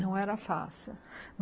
Não era fácil.